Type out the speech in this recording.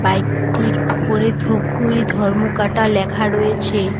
Bike -টির উপরে ধূপগুড়ি ধর্মকাটা লেখা রয়েছে।